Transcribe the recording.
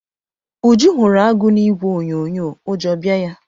Uju hụrụ agụ na ìgwè onyonyo ụjọ bịa ya.